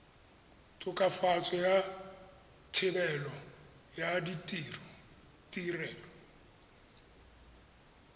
tokafatso ya thebolo ya ditirelo